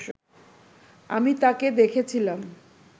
আমি তাকে দেখেছিলাম